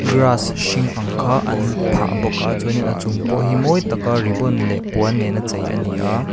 grass hring ang kha an phah bawk a chuan in a chung pawh hi mawi tak a ribbon leh puan nen a chei a ni a.